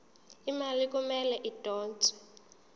imali kumele idonswe